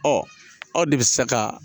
Ɔ aw de bɛ se ka